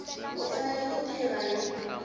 u fanele ku tirha hi